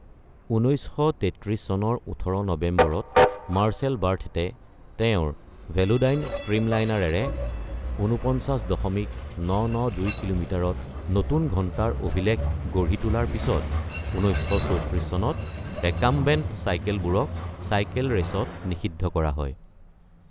১৯৩৩ চনৰ ১৮ নৱেম্বৰত মাৰ্চেল বাৰ্থেটে তেওঁৰ ভেলোডাইন ষ্ট্ৰীমলাইনাৰেৰে ৪৯.৯৯২ কিলোমিটাৰত নতুন ঘণ্টাৰ অভিলেখ গঢ়ি তোলাৰ পিছত ১৯৩৪ চনত ৰেকাম্বেণ্ট চাইকেলবোৰক চাইকেল ৰেচত নিষিদ্ধ কৰা হয়।